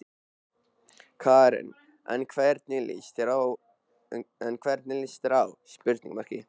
Karen: En hvernig lýst þér á?